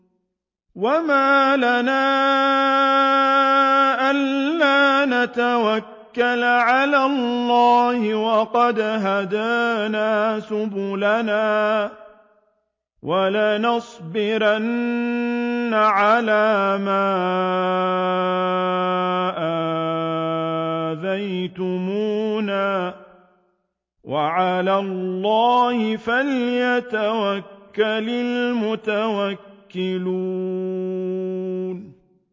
وَمَا لَنَا أَلَّا نَتَوَكَّلَ عَلَى اللَّهِ وَقَدْ هَدَانَا سُبُلَنَا ۚ وَلَنَصْبِرَنَّ عَلَىٰ مَا آذَيْتُمُونَا ۚ وَعَلَى اللَّهِ فَلْيَتَوَكَّلِ الْمُتَوَكِّلُونَ